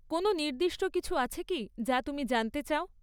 কোনও নির্দিষ্ট কিছু আছে কি, যা তুমি জানতে চাও?